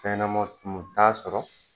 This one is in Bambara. Fɛn ɲɛnɛma tumu u t'a sɔrɔ